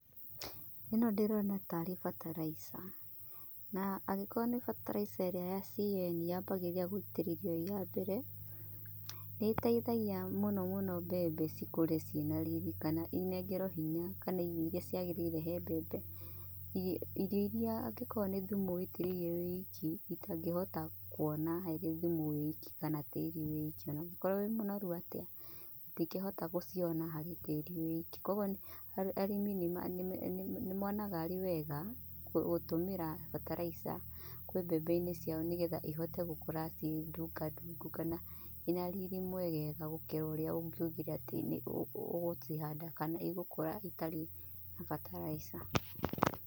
Ĩno ndirona tarĩ bataraitha. Na angĩkorwo nĩ bataraitha ĩrĩa ya CAN yambagĩrĩria gũitirĩrio ĩya mbere. Nĩ ĩteithagia mũno mũno mbembe cĩkũre cina riri kana ĩnengerwo hinya kana irio iria ciagĩrĩire he mbembe. Irio iria angĩkorwo nĩ thumu ũitĩrĩirie wĩ wiki itangĩhota harĩ thumi wĩ wiki kana tĩrĩ wĩ wiki ona ũngikorwo wĩ mũnoru atĩa, itingĩhota gũciona harĩ tĩri wĩ wiki. Koguo arĩmi nĩ monaga arĩ wega gũtũmĩra bataraitha kwĩ mbembeinĩ ciao nĩ getha ihote gũkũra ci i ndunga ndungu kana cina riri mwegega gũkĩra ũrĩa ungiugire atĩ nĩ ũgũcihanda kana igũkũra ĩtarĩ na bataraitha.